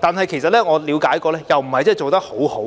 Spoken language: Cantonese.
但是，據我了解，這方面做得不太好，